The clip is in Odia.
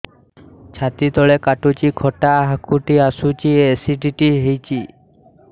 ଛାତି ତଳେ କାଟୁଚି ଖଟା ହାକୁଟି ଆସୁଚି ଏସିଡିଟି ହେଇଚି